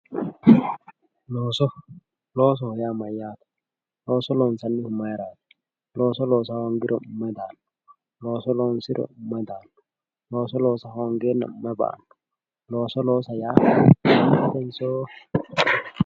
looso loosoho yaa mayyaate looso loonsannihu mayeeraati? looso loosa hoongiro maye ba"awo looso loosate maa afi'nanni?